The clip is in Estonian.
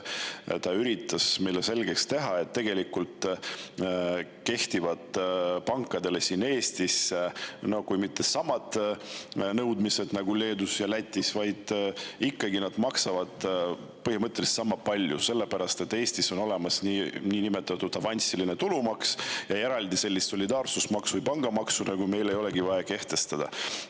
Ta üritas meile selgeks teha, et kui tegelikult siin Eestis ka ei kehti pankadele samad nõudmised nagu Leedus ja Lätis, siis nad ikkagi maksavad põhimõtteliselt sama palju, sest Eestis on olemas niinimetatud avansiline tulumaks, ja eraldi solidaarsusmaksu või pangamaksu meil ei olegi vaja kehtestada.